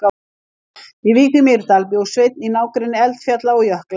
Í Vík í Mýrdal bjó Sveinn í nágrenni eldfjalla og jökla.